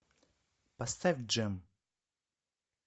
поставь джем